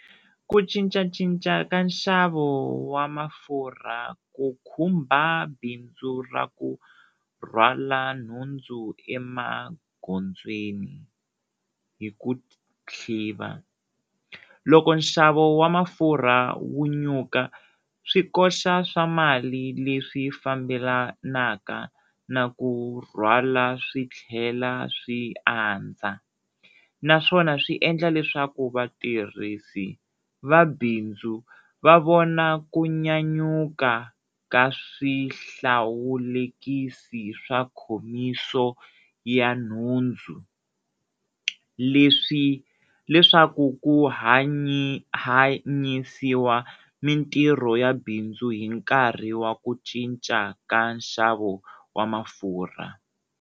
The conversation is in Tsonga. Ku cincacinca ka nxavo wa mafurha ku khumba bindzu ra ku rhwala nhundzu emagondzweni hi ku , loko nxavo wa mafurha wu nyuka swi koxa swa mali leswi fambelanaka na ku rhwala swi tlhela swi andza naswona swi endla leswaku vatirhisi vabindzu va vona ku nyanyuka ka swihlawulekisi swa khomiso ya nhundzu leswaku ku hanyisiwa mintirho ya bindzu hi nkarhi wa ku cinca ka nxavo wa mafurha.